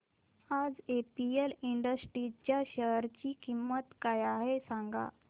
आज APM industries च्या share ची किंमत काय आहे सांगा